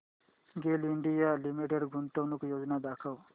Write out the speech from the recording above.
गेल India limited गुंतवणूक योजना दाखव